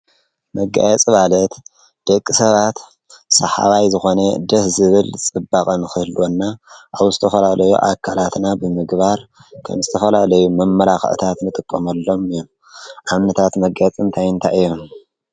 መጋየጽ ማለት ደቂ ሰባት ሰሓባይ ዝኾነ ደስ ዝብል ጽባቐን ኽህልወና ኣውስተኸላለዮ ኣካላትና ብምግባር ከምስተኸላለዩ መመላኽእታት ምጥቆምኣሎም እዩ ኣብነታት መጋየጽ ንቲይንታይ እዮም?